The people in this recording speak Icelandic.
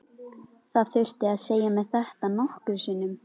Það þurfti að segja mér þetta nokkrum sinnum.